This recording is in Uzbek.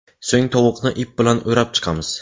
So‘ng tovuqni ip bilan o‘rab chiqamiz.